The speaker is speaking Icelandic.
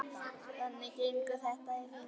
Þannig gengur þetta í hring.